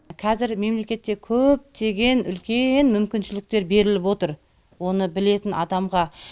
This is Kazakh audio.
қазір мемлекетте көптеген үлкен мүмкіншіліктер беріліп отыр оны білетін адамға